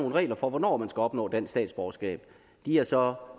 nogle regler for hvornår man skal opnå dansk statsborgerskab de er så